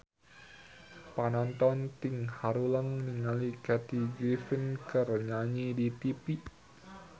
Panonton ting haruleng ningali Kathy Griffin keur nyanyi di tipi